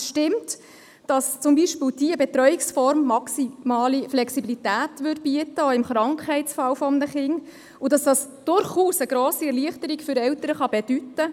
Es stimmt, dass zum Beispiel diese Betreuungsform maximale Flexibilität bieten würde, auch im Krankheitsfall eines Kindes, und dass dies durchaus eine grosse Erleichterung für Eltern bedeuten kann.